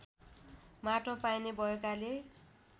माटो पाइने भएकाले